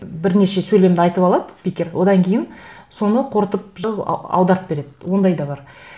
бірнеше сөйлемді айтып алады спикер одан кейін соны қорытып аударып береді ондай да бар